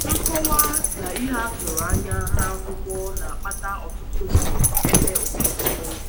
Nkọwa na ihe a tụrụ anya n’akwụkwọ na-akpata ọtụtụ mgbe ebe ebe ụfọdụ kpọmkwem.